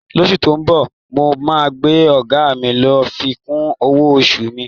Lóṣú tó ń bọ̀, mo máa bẹ ọ̀gá mi kí ó fi kún owó oṣù mi.